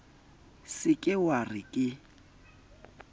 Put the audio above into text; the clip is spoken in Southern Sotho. se ke wa re ke